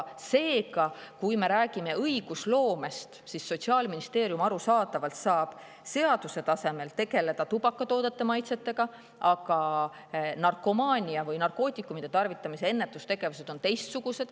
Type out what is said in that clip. Seega, kui me räägime õigusloomest, siis Sotsiaalministeerium arusaadavalt saab seaduse tasemel tegeleda tubakatoodete maitsetega, aga narkomaania või narkootikumide tarvitamise ennetus on teistsugune.